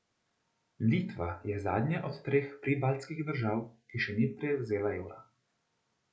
Litva je zadnja od treh pribaltskih držav, ki še ni prevzela evra.